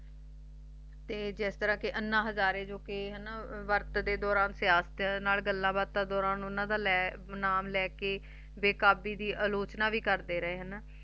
ਤੇ ਜਿਸ ਤਰ੍ਹਾਂ ਅੰਨਾ ਹਜ਼ਾਰੇ ਉਪ ਦੇ ਗੱਲਾਂ ਬਾਤਾਂ ਦੇ ਦੂਰਾਂ ਉਨ੍ਹਾਂ ਨੇ ਨਾਮ ਲੈ ਕ ਵੈਕਬੀ ਦੀ ਆਲੋਚਨਾ ਭੀ ਕਰਦੇ ਰਹਿ ਸੀ